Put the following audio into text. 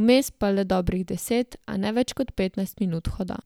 vmes pa le dobrih deset, a ne več kot petnajst minut hoda.